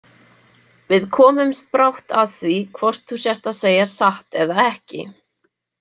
Við komumst brátt að því hvort þú sért að segja satt eða ekki